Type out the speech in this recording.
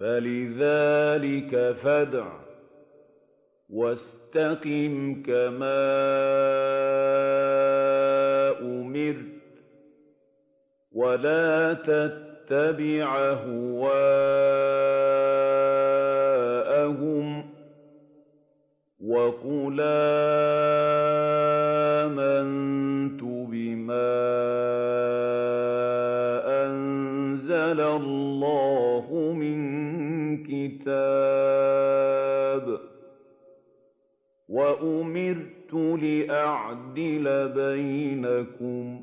فَلِذَٰلِكَ فَادْعُ ۖ وَاسْتَقِمْ كَمَا أُمِرْتَ ۖ وَلَا تَتَّبِعْ أَهْوَاءَهُمْ ۖ وَقُلْ آمَنتُ بِمَا أَنزَلَ اللَّهُ مِن كِتَابٍ ۖ وَأُمِرْتُ لِأَعْدِلَ بَيْنَكُمُ ۖ